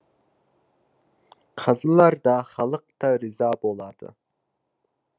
қазылар да халық та риза болады